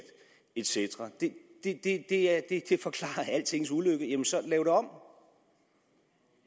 et cetera det forklarer altings ulykke jamen så lav det om